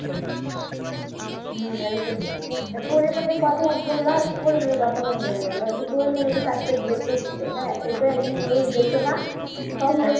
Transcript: হম এরকমই এই Porimoni র কথা যে বললে Porimoni র কথা মনে পরে গেলো Porimoni যে চারটে বিয়ে করেছে হ্যাঁ এটা একটা News দেখছো না খবর